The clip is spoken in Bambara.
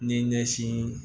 Ni ɲɛsin